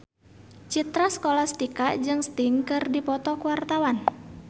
Citra Scholastika jeung Sting keur dipoto ku wartawan